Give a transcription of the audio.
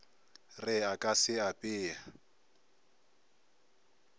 re a ka se apee